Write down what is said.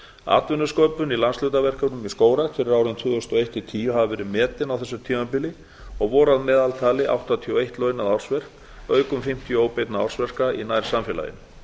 atvinnusköpun í landshlutaverkefnum í skógrækt fyrir árin tvö þúsund og eitt til tvö þúsund og tíu hafa verið metin á þessu tímabili og voru að meðaltali áttatíu og eitt launað ársverk auk um fimmtíu óbeinna ársverka í nærsamfélaginu